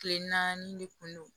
Kile naani de kun don